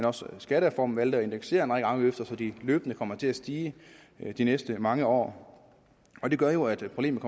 også i skattereformen at indeksere en række afgifter så de løbende kommer til at stige de næste mange år og det gør jo at problemet